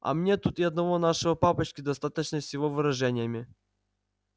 а мне тут и одного нашего папочки достаточно с его выражениями